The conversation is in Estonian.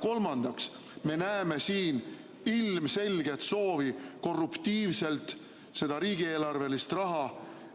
Kolmandaks, me näeme siin ilmselget soovi korruptiivselt seda riigieelarvelist raha